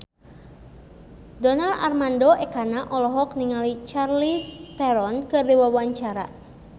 Donar Armando Ekana olohok ningali Charlize Theron keur diwawancara